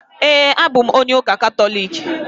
Ee, abụ m onye ụka Katọliki.